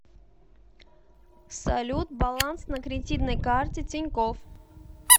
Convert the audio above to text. салют баланс на кредитной карте тинькофф